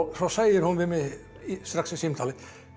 þá segir hún við mig strax í símtalinu